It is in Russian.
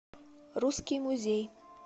русский музей